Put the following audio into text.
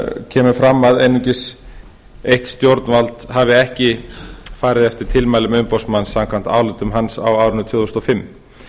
kemur fram að einungis eitt stjórnvald hafi ekki farið eftir tilmælum umboðsmanns samkvæmt ályktun hans á árinu tvö þúsund og fimm